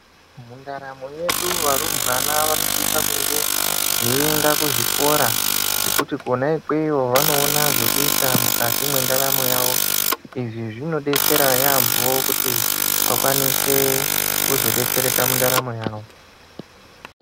Mundaramo yedu varumbwana vano sisa kunge vei enda ku zvikora ngekuti kona ikweyo vanoona zvekuita mukati mwe ndaramo yawo izvi zvinodetsera yambo kuti vazo kwanisa kudetsereka mundaramo yawo.